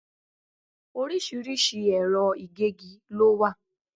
Orísìírísìí ẹ̀rọ ìgégi lo wà